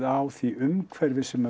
á því umhverfi sem